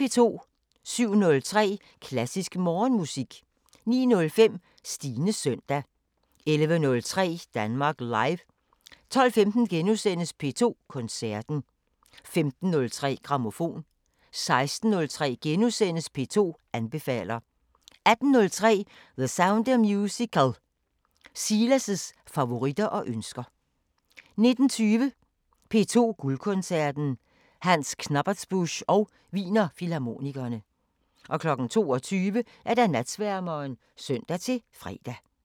07:03: Klassisk Morgenmusik 09:05: Stines søndag 11:03: Danmark Live 12:15: P2 Koncerten * 15:03: Grammofon 16:03: P2 anbefaler * 18:03: The Sound of Musical: Silas' favoritter og ønsker 19:20: P2 Guldkoncerten: Hans Knappertsbusch og Wiener Filharmonikerne 22:00: Natsværmeren (søn-fre)